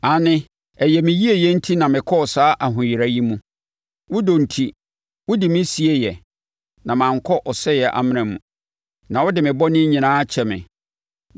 Aane, ɛyɛ me yieyɛ enti na mekɔɔ saa ahoyera yi mu. Wo dɔ enti, wode me sieeɛ na mankɔ ɔsɛe amena mu; na wode me bɔne nyinaa akyɛ me.